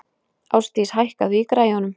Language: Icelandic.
Ásdís, hækkaðu í græjunum.